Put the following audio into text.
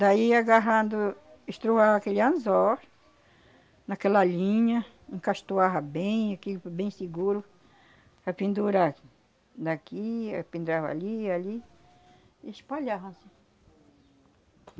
Daí agarrado, estroava aquele anzol naquela linha, encastoava bem aqui, bem seguro, para pendurar naqui, aí pendurava ali, ali, e espalhava, anssim.